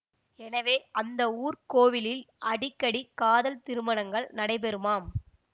எனவே அந்த ஊர்க் கோவிலில் அடிக்கடி காதல் திருமணங்கள் நடைபெறுமாம்